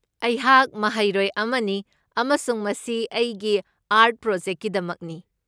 ꯑꯩꯍꯥꯛ ꯃꯍꯩꯔꯣꯏ ꯑꯃꯅꯤ ꯑꯃꯁꯨꯡ ꯃꯁꯤ ꯑꯩꯒꯤ ꯑꯥꯔꯠ ꯄ꯭ꯔꯣꯖꯦꯛꯠꯀꯤꯗꯃꯛꯅꯤ꯫